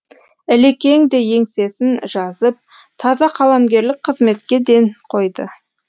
ілекең де еңсесін жазып таза қаламгерлік қызметке ден қойды